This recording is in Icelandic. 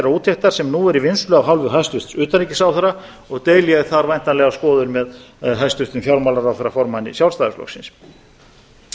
úttektar sem nú er í vinnslu af hálfu hæstvirts utanríkisráðherra og deili ég þar væntanlega skoðun með hæstvirtum fjármálaráðherra formanni sjálfstæðisflokksins